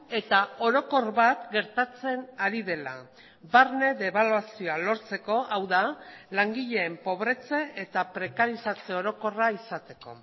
eta orokor bat gertatzen ari dela barne debaluazioa lortzeko hau da langileen pobretze eta prekarizatze orokorra izateko